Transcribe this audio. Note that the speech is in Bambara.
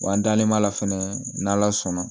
Wa an dalen b'a la fɛnɛ n'ala sɔnna